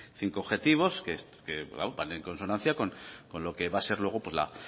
cinco objetivos que van en consonancia con lo que va a ser luego la